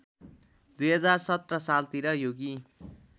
२०१७ सालतिर योगी